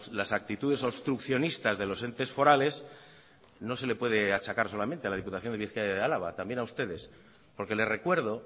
las actitudes obstruccionistas de los entes forales no se le puede achacar solamente a la diputación de bizkaia y álava también a ustedes porque le recuerdo